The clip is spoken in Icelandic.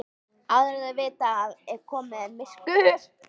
Áður en þau vita af er komið myrkur.